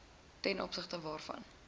ten opsigte waarvan